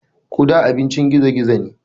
Guda abincin gizo gizo ne.